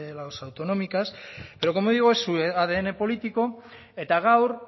las autonómicas pero como digo es su adn político eta gaur